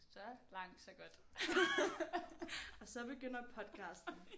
Så langt så godt og så begynder podcasten